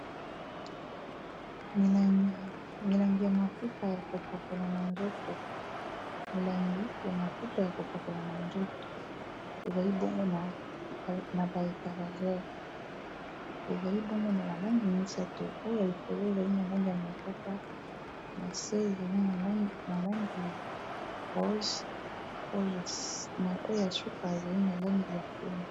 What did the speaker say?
milangi ya mafuta ya kopakola na nzoto ezali bonge na bahitalagere ezali bonge na balangi misato oya likolo ezali na langi ya mokaka na se ezalna langi ya rose oya suka ezali na langi ya pemi